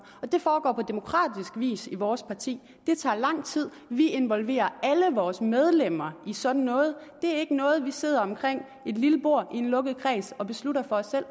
og det foregår på demokratisk vis i vores parti det tager lang tid vi involverer alle vores medlemmer i sådan noget det er ikke noget vi sidder omkring et lille bord i en lukket kreds og beslutter for os selv